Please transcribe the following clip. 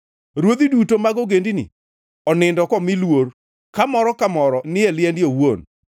Ruodhi duto mag ogendini onindo komi luor, ka moro ka moro ni e liende owuon.